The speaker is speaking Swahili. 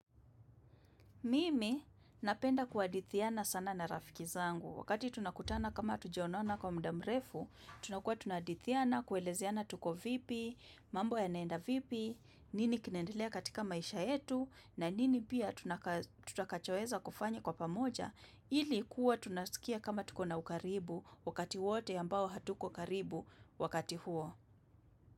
Mimi napenda kuhadithiana sana na rafiki zangu. Wakati tunakutana kama hatujaonana kwa mda mrefu, tunakuwa tunahadithiana, kuelezeana tuko vipi, mambo yanaenda vipi, nini kinaendelea katika maisha yetu, na nini pia tutakachoeza kufanya kwa pamoja, ilikuwa tunasikia kama tukona ukaribu wakati wote ambao hatuko karibu wakati huo.